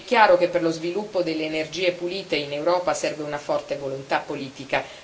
È chiaro che per lo sviluppo delle energie pulite in Europa serve una forte volontà politica.